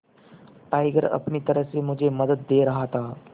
tiger अपनी तरह से मुझे मदद दे रहा था